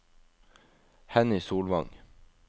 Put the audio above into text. Henny Solvang